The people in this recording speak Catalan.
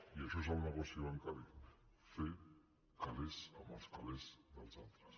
i això és el negoci bancari fer calés amb els calés dels altres